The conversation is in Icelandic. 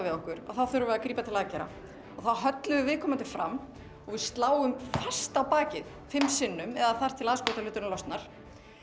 við okkur þá þurfum við að grípa til aðgerða þá höllum við viðkomandi fram og við sláum fast á bakið fimm sinnum eða þar til aðskotahluturinn losnar